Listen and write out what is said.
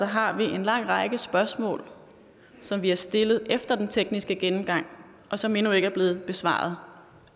har vi en lang række spørgsmål som vi har stillet efter den tekniske gennemgang og som endnu ikke er blevet besvaret